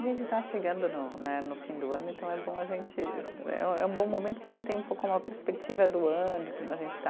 A gente está chegando no né, no fim do ano, então é bom a gente né, eh é um bom momento que a gente tem um pouco uma perspectiva do ano, de como a gente está.